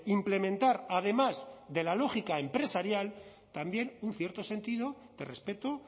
implementar además de la lógica empresarial también un cierto sentido de respeto